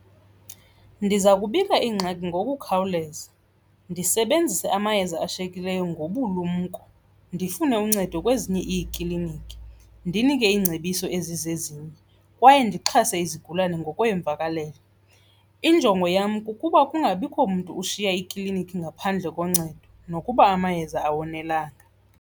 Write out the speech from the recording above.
Ndiza kubika ingxaki ngokukhawuleza, ndisebenzise amayeza ashiyekileyo ngobulumko, ndifune uncedo kwezinye iikliniki, ndinike iingcebiso ezizezinye kwaye ndixhase izigulane ngokweemvakalelo. Injongo yam kukuba kungabikho mntu ushiya iklinikhi ngaphandle koncedo nokuba amayeza awonelanga.